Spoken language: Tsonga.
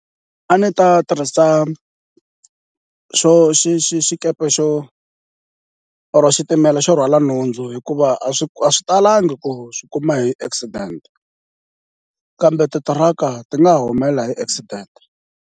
A ndzi ta tirhisa xo xi xi xikepe xo or xitimela xo rhwala nhundzu hikuva a swi a swi talangi ku swi kuma hi accident, kambe titiraka ti nga ha humelela hi accident.